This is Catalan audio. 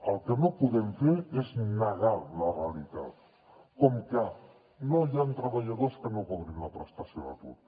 el que no podem fer és negar la realitat com que no hi han treballadors que no cobrin la prestació d’atur